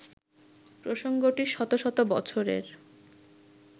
প্রসঙ্গটি শত শত বছরের